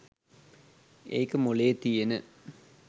ඒක මොළේ තියෙන